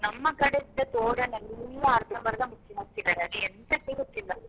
ನಮ್ಮ ಕಡೆ ಇದ್ದ ತೊಡನೆಲ್ಲಾ ಅರ್ಧಬಂರ್ದ ಮುಚ್ಚಿದ್ದಾರೆ ಹಾಕಿದ್ದಾರೆ ಅದು ಎಂತಕ್ಕೆ ಗೊತ್ತಿಲ್ಲ.